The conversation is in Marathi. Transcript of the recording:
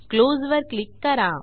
क्लोज वर क्लिक करा